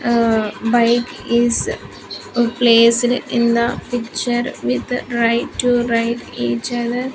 Uh bike is placed in the picture with right to right each other.